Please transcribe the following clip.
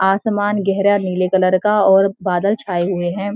आसमान गहरा नीले कलर का और बादल छाए हुए हैं।